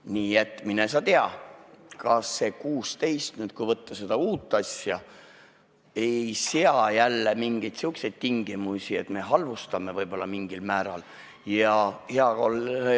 Nii et mine sa tea, kas see 16 aastat, kui nüüd vaadata seda uut asja, ei sea jälle mingeid tingimusi, et me võib-olla mingil määral halvustame.